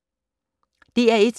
DR1